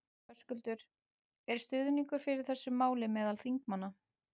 Höskuldur: Er stuðningur fyrir þessu máli meðal þingmanna?